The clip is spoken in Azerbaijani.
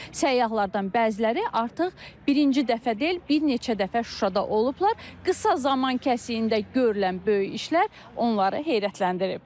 Səyyahlardan bəziləri artıq birinci dəfə deyil, bir neçə dəfə Şuşada olublar, qısa zaman kəsiyində görülən böyük işler onları heyrətləndirib.